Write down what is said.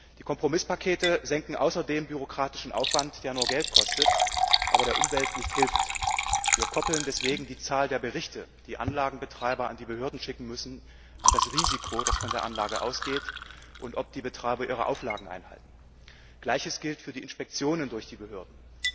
Die Kompromisspakete senken außerdem bürokratischen Aufwand, der nur Geld kostet, aber der Umwelt nicht hilft. Wir koppeln deswegen die Zahl der Berichte, die die Anlagenbetreiber an die Behörden schicken müssen, an das Risiko, das von der Anlage ausgeht und daran, ob die Betreiber ihre Auflagen einhalten. Gleiches gilt für die Inspektionen durch die Behörden.